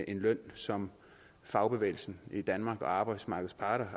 en løn som fagbevægelsen i danmark og arbejdsgiverne arbejdsmarkedets parter